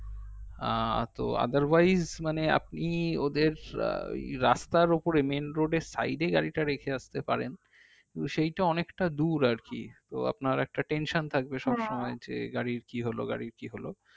আহ তো otherwise মানে আপনি ওদের ওই রাস্তার ওপরে main road এর side এ গাড়িটা রেখে আসতে পারেন সেইটা অনেকটা দূর আর কি তো আপনার একটা tension থাকবে সবসময় যে গাড়ির কি হলো